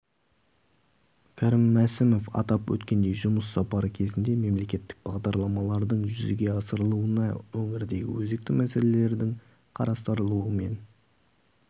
кәрім мәсімов атап өткендей жұмыс сапары кезінде мемлекеттік бағдарламалардың жүзеге асырылуына өңірдегі өзекті мәселелердің қарастырылуы мен